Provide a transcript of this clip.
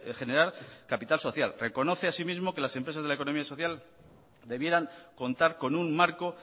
generar capital social reconoce asimismo que las empresas de la economía social debieran contar con un marco